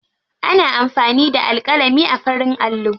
Ana amfani da alƙalami a farin allo.